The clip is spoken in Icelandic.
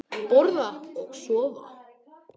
Borða og sofa.